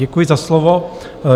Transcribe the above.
Děkuji za slovo.